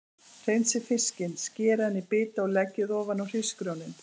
Hreinsið fiskinn, skerið hann í bita og leggið ofan á hrísgrjónin.